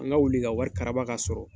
An ka wuli ka wari karaba k'a sɔrɔ.